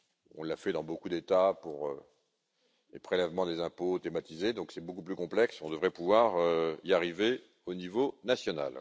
On l'a fait dans beaucoup d'États pour les prélèvements des impôts automatisés, ce qui est beaucoup plus complexe, donc on devrait pouvoir y arriver au niveau national.